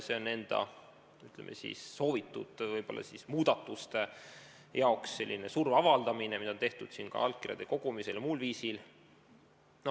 See on enda soovitud muudatuste saavutamiseks surve avaldamine, mida on tehtud ka allkirju kogudes ja muul viisil.